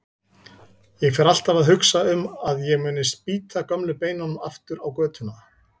Ég fer alltaf að hugsa um að ég muni spýta gömlu beinunum aftur á götuna.